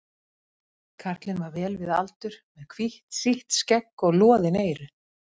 Karlinn var vel við aldur, með hvítt sítt skegg og loðin eyru.